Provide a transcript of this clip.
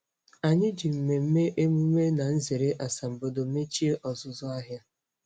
Anyị ji mmemme emume na nzere asambodo mechie ọzụzụ ahụ.